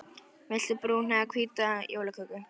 Viltu brúna eða hvíta jólaköku?